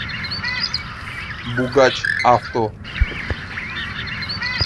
бугач авто